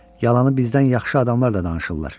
Yalanı bizdən yaxşı adamlar da danışırlar.